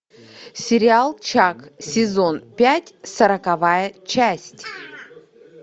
сериал чак сезон пять сороковая часть